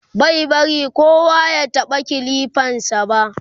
bai bari kowa ya taɓa kilifan sa ba